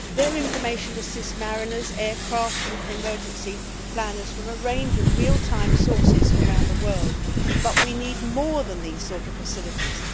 Its information assists mariners, aircraft and emergency planners from a range of real time sources around the world, but we need more than these sorts of facilities.